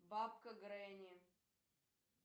бабка гренни